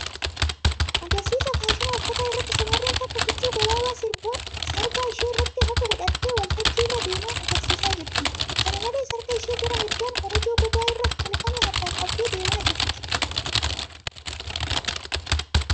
Agarsiisa faashina uffataa irratti shamarreen takka huccuu gabaabaa sarbaa ishee irratti hafu hidhattee waltajjii irra deemaa agarsiisaa jirti. Kana malees, harka ishee gara mirgaan korojoo gogaa irraa tolfame harkaan qabdee deemaa jirti.